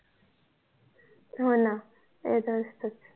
होणा